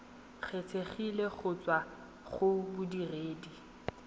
kgethegileng go tswa go bodiredi